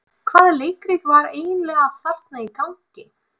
Hvaða leikrit var eiginlega þarna í gangi?